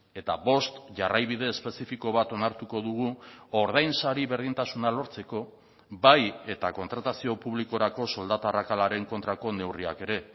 eta bost jarraibide espezifiko bat onartuko dugu ordainsari berdintasuna lortzeko bai eta kontratazio publikorako soldata arrakalaren kontrako neurriak ere